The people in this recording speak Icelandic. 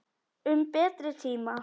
Um betri tíma.